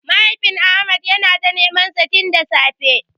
Mahaifin Ahmad yana ta nemansa tin da safe.